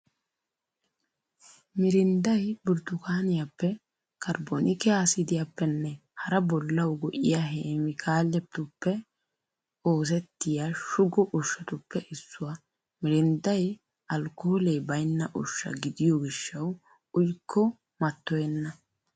Miirindday burttukkaaniyaappe, karbonike aasidiyaappenne hara bollawu go'iya keemikaaletuppe oosettiya shugo ushshatuppe issuwaa. Miirindday alkoolee baynna ushsha gidiyo gishawu uyikko mattoyenna.